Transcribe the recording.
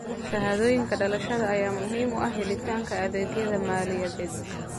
Shahaadooyinka dhalashada ayaa muhiim u ah helitaanka adeegyada maaliyadeed.